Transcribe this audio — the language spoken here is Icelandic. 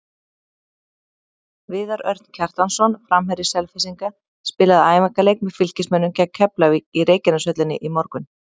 Viðar Örn Kjartansson, framherji Selfyssinga, spilaði æfingaleik með Fylkismönnum gegn Keflavík í Reykjaneshöllinni í morgun.